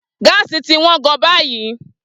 Gáàsì ti wọ́n gan-an báyìí.